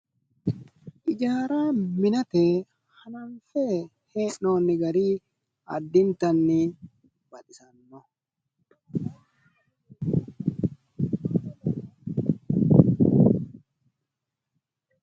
ijaara minate birate eessinoonni gari addintanni baxisannoho .